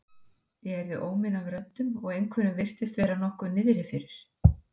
Ég heyrði óminn af röddum og einhverjum virtist vera nokkuð niðri fyrir.